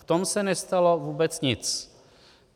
V tom se nestalo vůbec nic.